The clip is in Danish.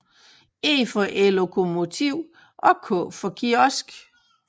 E for ellokomotiv og k for kiosk